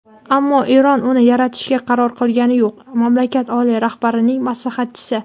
ammo Eron uni yaratishga qaror qilgani yo‘q – mamlakat oliy rahbarining maslahatchisi.